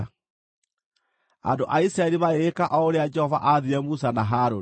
Andũ a Isiraeli magĩgĩka o ũrĩa Jehova aathire Musa na Harũni.